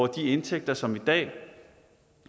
de indtægter som i dag